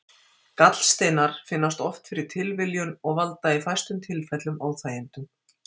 Gallsteinar finnast oft fyrir tilviljun og valda í fæstum tilfellum óþægindum.